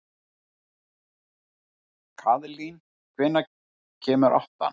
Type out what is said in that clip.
Kaðlín, hvenær kemur áttan?